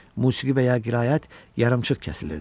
Musiqi və ya qiraət yarımçıq kəsilirdi.